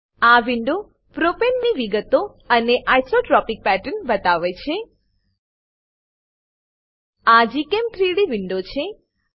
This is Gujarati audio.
આ વિન્ડો પ્રોપેનની વિગતો અને આઇસોટ્રોપિક પેટર્ન બતાવે છે આ gchem3ડી વિન્ડો છે